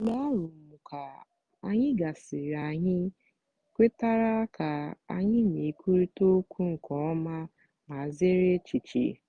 mgbe arụmụka anyị gasịrị anyị kwetara ka anyị na-ekwurịta okwu nke ọma ma zere echiche.